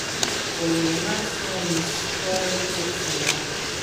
Kolena so mi skoraj klecnila.